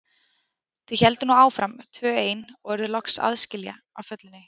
Þau héldu nú áfram tvö ein og urðu loks aðskila á fjallinu.